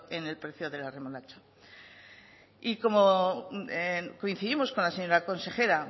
en el precio de la remolacha y como coincidimos con la señora consejera